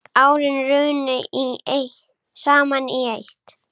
Árin runnu saman í eitt.